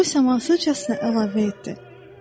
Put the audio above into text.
O isə mənə səssizcəsinə əlavə etdi: